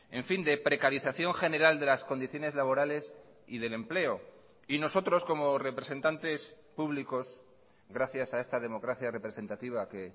en fin de precarización general de las condiciones laborales y del empleo y nosotros como representantes públicos gracias a esta democracia representativa que